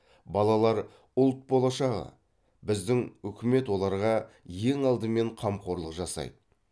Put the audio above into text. балалар ұлт болашағы біздің үкімет оларға ең алдымен қамқорлық жасайды